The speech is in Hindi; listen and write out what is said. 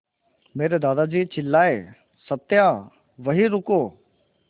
मेरे दादाजी चिल्लाए सत्या वहीं रुको